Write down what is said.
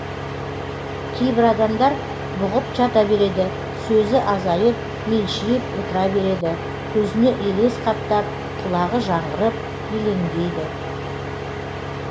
кейбір адамдар бұғып жата береді сөзі азайып мелшиіп отыра береді көзіне елес қаптап құлағы жаңғырып елеңдейді